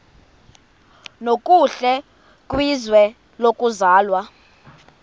nokuhle kwizwe lokuzalwa